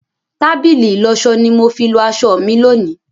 Tábìlì ìlọsọ ni mo fi lọ aṣọ mi lónìí.